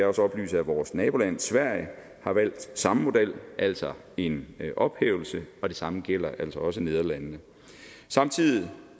også oplyse at vores naboland sverige har valgt samme model altså en ophævelse og det samme gælder også nederlandene samtidig